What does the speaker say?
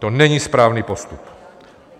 To není správný postup.